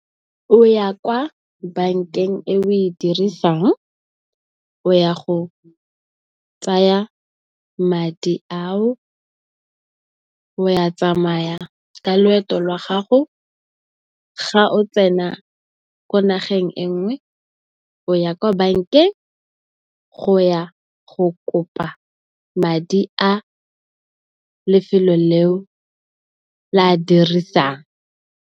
O ya kwa bankeng eo o e dirisang, o ya go tsaya madi ao, o tsamaye ka loeto la gago. Ga o tsena ko nageng e nngwe o ya kwa bankeng go ya go kopa madi a lefelo leo le a dirisang.